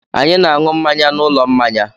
Anyị na-aṅụ mmanya n'ụlọ mmanya.